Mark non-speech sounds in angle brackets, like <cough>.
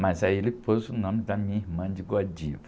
Mas aí ele pôs o nome da minha irmã de. <unintelligible>